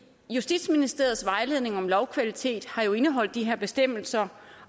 justitsministeriets vejledning om lovkvalitet har jo indeholdt de her bestemmelser